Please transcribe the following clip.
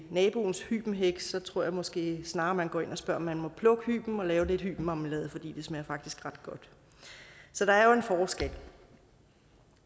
naboens hybenhæk så tror jeg måske snarere at man går ind og spørger om man må plukke hyben og lave lidt marmelade for det smager faktisk ret godt så der er jo en forskel